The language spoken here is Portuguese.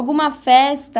Alguma festa?